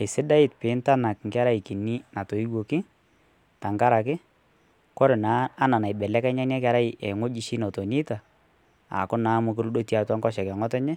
eisidai pintanak nkerai kinii natoiwakii tankarakee kore naa anaa naibelekenya inia kerai nghojii shii notoneitaa aaaku naa mokuree etii atua nkosheke ee nghotenyee